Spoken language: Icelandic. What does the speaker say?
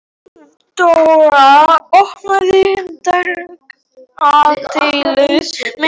Friðdóra, opnaðu dagatalið mitt.